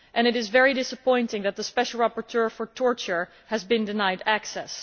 It is very disappointing that the special rapporteur for torture has been denied access.